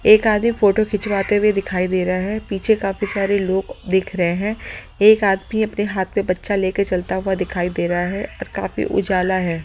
एक आदमी फोटो खिंचवाते हुए दिखाई दे रहा है पीछे काफी सारे लोग देख रहे हैं एक आदमी अपने हाथ में बच्चा लेकर चलता हुआ दिखाई दे रहा हैऔर काफी उजाला है।